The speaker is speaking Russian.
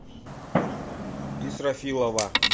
исрафилова